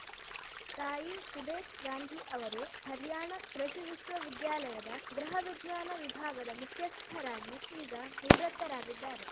ತಾಯಿ ಸುದೇಶ್‌ ಗಾಂಧಿ ಅವರು ಹರ್ಯಾಣ ಕೃಷಿ ವಿಶ್ವವಿದ್ಯಾಲಯದ ಗೃಹವಿಜ್ಞಾನ ವಿಭಾಗದ ಮುಖ್ಯಸ್ಥರಾಗಿ ಈಗ ನಿವೃತ್ತರಾಗಿದ್ದಾರೆ